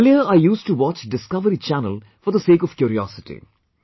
Earlier I used to watch Discovery channel for the sake of curiosity